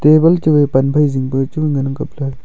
table chu wai pan phai zing pe chu ngan ang kapley.